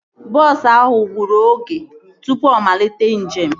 Bọọsu ahụ gburu oge tụpụ ọ malite njem